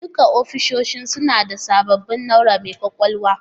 Duka ofisoshin suna da sabbin na'ura mai kwakwalwa